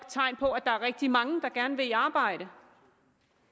tegn på at der er rigtig mange der gerne vil i arbejde